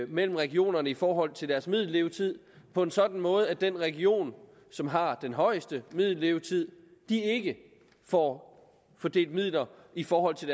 mellem regionerne i forhold til deres middellevetid på en sådan måde at den region som har den højeste middellevetid ikke får fordelt midler i forhold til